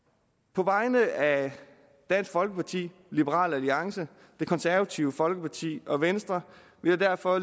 på vegne af dansk folkeparti liberal alliance det konservative folkeparti og venstre vil jeg derfor